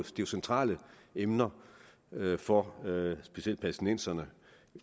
det er centrale emner for specielt palæstinenserne